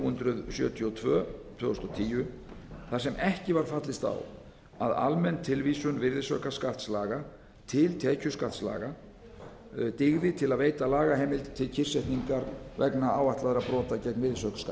hundruð sjötíu og tvö tvö þúsund og tíu þar sem ekki var fallist á að almenn tilvísun virðisaukaskattslaga til tekjuskattslaga dygði til að veita lagaheimild til kyrrsetningar vegna áætlaðra brota gegn